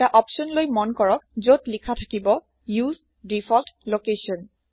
এটা অপচনলৈ মন কৰক যত লিখা থাকিব উচে ডিফল্ট লোকেশ্যন